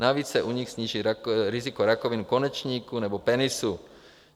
Navíc se u nich sníží riziko rakoviny konečníku nebo penisu.